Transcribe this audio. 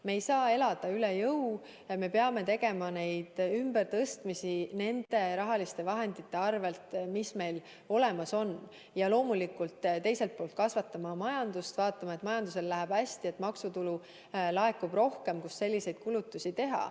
Me ei saa elada üle jõu ja me peame tegema ümbertõstmisi nende rahaliste vahendite piires, mis meil olemas on, ja loomulikult teiselt poolt kasvatama majandust, vaatama, et majandusel läheks hästi ja et laekuks rohkem maksutulu, mille varal selliseid kulutusi teha.